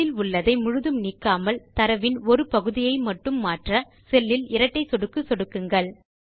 செல் இல் உள்ளதை முழுதும் நீக்காமல் தரவின் ஒரு பகுதியை மட்டும் மாற்ற செல் இல் இரட்டை சொடுக்கு சொடுக்குங்கள்